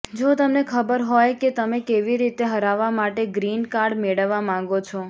જો તમને ખબર હોય કે તમે કેવી રીતે હરાવવા માટે ગ્રીન કાર્ડ મેળવવા માંગો છો